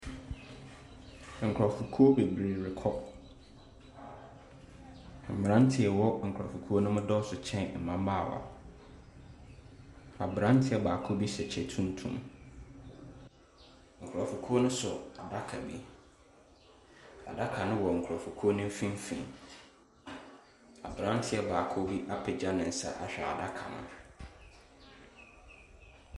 Nkurɔfokuo bebree rekɔ. Mmeranteɛ a wɔwɔ nkurɔfokuo no mu dɔɔso kyɛn mmabaawa. Aberanteɛ baako bi hyɛ kyɛ tuntum. Nkurɔfokuo nso so adaka bi Adaka no wɔ nkurɔfokuo no mfimfini. Aberanteɛ baako bi apagya ne nsa ahwɛ adaka no.